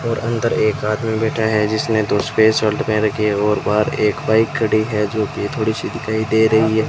और अंदर एक आदमी बैठा है जिसने दो सफेद सल्ट पहन रखी है और बाहर एक बाइक खड़ी है जो कि थोड़ी सी दिखाई दे रही है।